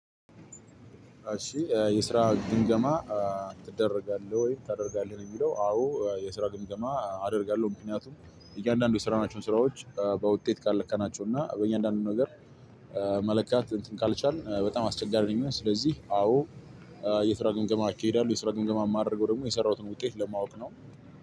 እሺ እ የስራ ግምገማ እ ትደረጋለህ ወይ ታደርጋለህ ነው የሚለው? አዎ የስራ ግምገማ አደርጋለሁ ምክንያቱም እያንዳንዱ የሰራናቸውን ስራዎች በውጤት ካልለካናቸው እና በእያንዳንዱ ነገር እ መለካት እንትን ካልቻልን እ በጣም አስቸጋሪ ነው የሚሆነው። ስለዚህ አዎ የስራ ግምገማ እካሂዳለሁ። የስራ ግምገማ ማደርገው ደግሞ የሰራሁትን ውጤት ለማወቅ ነው።